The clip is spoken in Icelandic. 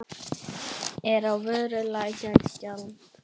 Er á vöru lækkað gjald.